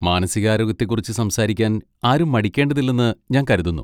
മാനസികാരോഗ്യത്തെക്കുറിച്ച് സംസാരിക്കാൻ ആരും മടിക്കേണ്ടതില്ലെന്ന് ഞാൻ കരുതുന്നു.